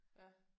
Ja